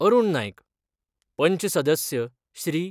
अरूण नाईक, पंच सदस्य श्री.